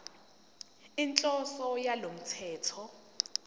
inhloso yalo mthetho